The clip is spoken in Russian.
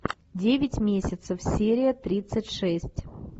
девять месяцев серия тридцать шесть